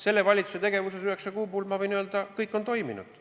Selle valitsuse tegevuse üheksa kuu jooksul, ma võin öelda, kõik on toiminud.